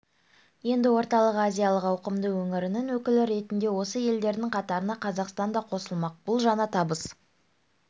енді орталық азиялық ауқымды өңірінің өкілі ретінде осы елдердің қатарына қазақстан да қосылмақ бұл жаңа табыс